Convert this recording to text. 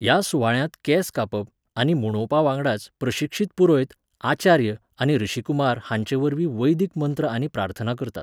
ह्या सुवाळ्यांत केंस कापप आनी मुंडोवपावांगडाच प्रशिक्षीत पुरोयत, आचार्य आनी ऋषिकुमार हांचेवरवीं वैदिक मंत्र आनी प्रार्थना करतात.